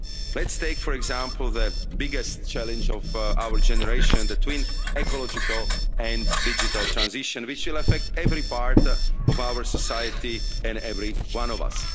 Let's take, for example, the biggest challenge of our generation the twin ecological and digital transition, which will affect every part of our society and every one of us.